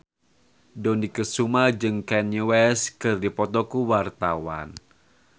Dony Kesuma jeung Kanye West keur dipoto ku wartawan